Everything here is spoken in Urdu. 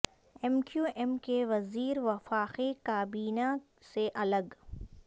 ایم کیو ایم کے وزیر وفاقی کابینہ سے الگ